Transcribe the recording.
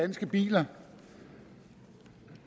der